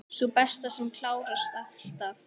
Sú besta, sem klárast alltaf.